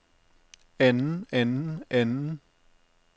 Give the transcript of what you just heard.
anden anden anden